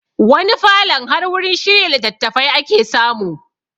Wani falon har wurin shirya litattafai ake samu